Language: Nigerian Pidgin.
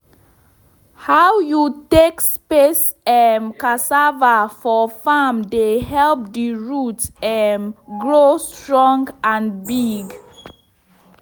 how you take space um cassava for farm dey help the root um grow strong and big.